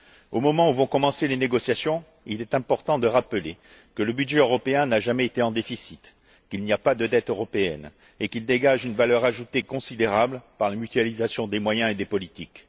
Au moment où vont commencer les négociations, il est important de rappeler que le budget européen n'a jamais été en déficit, qu'il n'y a pas de dette européenne et que ce budget dégage une valeur ajoutée considérable par la mutualisation des moyens et des politiques.